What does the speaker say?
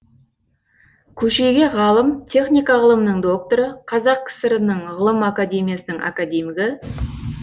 көшеге ғалым техника ғылымының докторы қазақ кср інің ғылым академиясының академигі